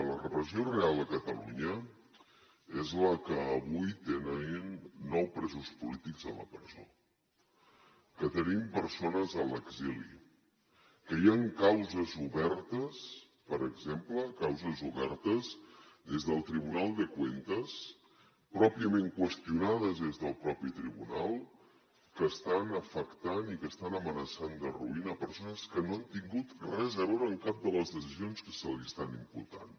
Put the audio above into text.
la repressió real a catalunya és que avui tenim nou presos polítics a la presó que tenim persones a l’exili que hi ha causes obertes per exemple causes obertes des del tribunal de cuentas pròpiament qüestionades des del mateix tribunal que estan afectant i que estan amenaçant d’arruïnar persones que no han tingut res a veure amb cap de les decisions que se li estan imputant